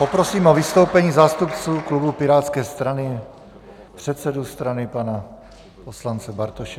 Poprosím o vystoupení zástupce klubu pirátské strany, předsedu strany pana poslance Bartoše.